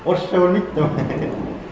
орысша білмейді